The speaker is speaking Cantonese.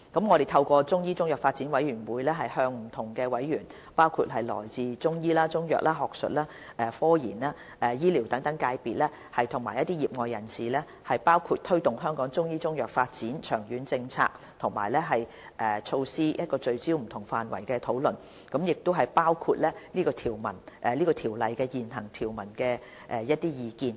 我們會透過中醫中藥發展委員會，向不同委員，包括中醫、中藥、學術、科研、醫療等界別和業外人士，就推動香港中醫中藥發展的長遠政策及措施聚焦進行不同範圍的討論，包括對《條例》現行條文的意見。